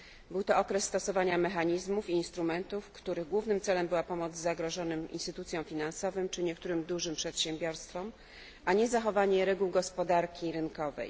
Był to okres stosowania mechanizmów i instrumentów, których głównym celem była pomoc zagrożonym instytucjom finansowym czy niektórym dużym przedsiębiorstwom, a nie zachowanie reguł gospodarki rynkowej.